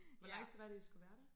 Hvor lang tid var det I skulle være der?